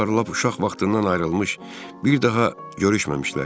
Onlar lap uşaq vaxtından ayrılmış, bir daha görüşməmişlər.